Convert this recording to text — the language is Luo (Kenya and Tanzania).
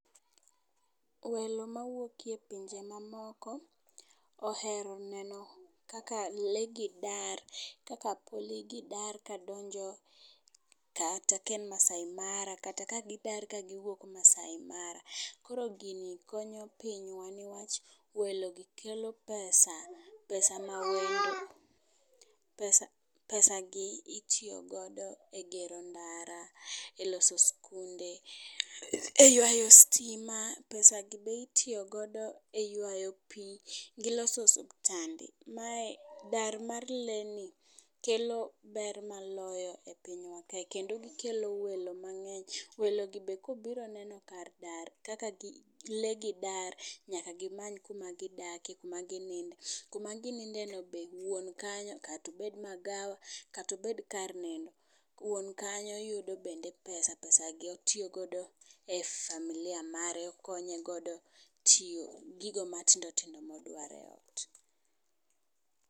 Welo mawuok e pinje mamoko ohero neno kaka lee gidar, kaka kuli gi dar kadonjo kata ka en masaai mara kata kagidar kagi wuok masai mara. Koro gini konyo pinywa newach welo gi kelo pesa pesa pesa pesa gi itiyo godo e gero ndara, e loso skunde eywayo stima, pesa gi be itiyo godo e ywayo pii gioso osiptande. Mae dar mar lee ni kelo ber maloyo e pinywa kae kendo gikelo welo mang'eny . Welo gi be kobiro neno kar dar kaka lee gi dar nyaka gimany kuma gidake , kuma ginidne kama gininde no wuon kanyo kato bed magawa kato bed kar nindo. Wuon kanyo yudo bende pesa pesa gi otiyo godo e familia mare okonyo godo e tiyo gigo matindo tindo modwaro e ot.